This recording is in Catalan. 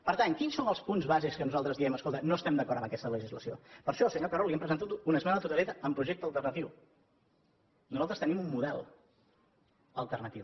per tant quins són els punts base en què nosaltres diem escolta no estem d’acord amb aquesta legislació per això senyor carod li hem presentat una esmena a la totalitat amb projecte alternatiu nosaltres tenim un model alternatiu